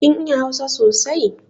Kin iya hausa sosai?